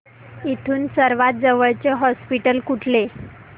इथून सर्वांत जवळचे हॉस्पिटल कुठले